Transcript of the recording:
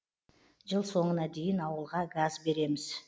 жыл соңына дейін ауылға газ береміз